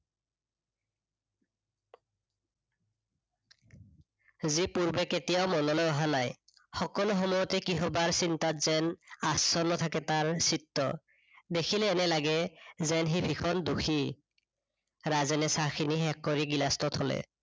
যি পূৰ্বে কেতিয়াও মনলৈ অহা নাই, সকলো সময়তে কিহবাৰ চিন্তুাত যেন আচন্ন থাকে তাৰ চিত্ত। দেখিলে এনে লাগে যেন সি ভীষন দোষী ৰাজেনে চাহ খিনি শেষ কৰি গিলাচটো থলে